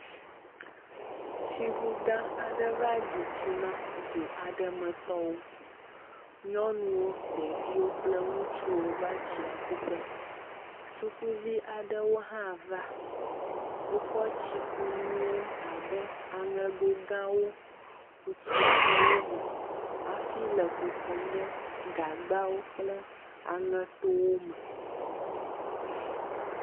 Tsiŋu gã aɖewo va ɖi tsi na du aɖe me tɔwo. Nyɔnuwo, ɖeviwo kple ŋutsuwo va tsia ku ƒe. sukuvi aɖewo hã va. Wokɔ tsikunuwo abe; aŋego gãawo ku tsia ɖe wo me afi le kukum ɖe gagbawo kple aŋetowo me.